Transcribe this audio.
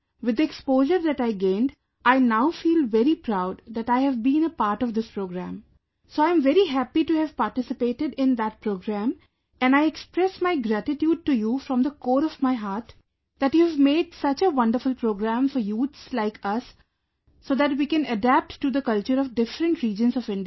with the exposure that I gained, I now feel very proud that I have been a part of this program, so I am very happy to have participated in that program and I express my gratitude to you from the core of my heart that you have made such a wonderful program for youths like us so that we can adapt to the culture of different regions of India